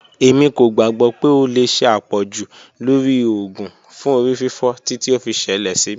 Emi ko gbagbọ pe o le ṣe apọju lori oògùn fun orififo titi o fi ṣẹlẹ si mi.